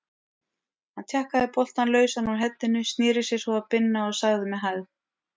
Hann tjakkaði boltann lausan úr heddinu, sneri sér svo að Binna og sagði með hægð